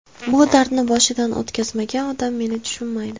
Bu dardni boshidan o‘tkazmagan odam meni tushunmaydi.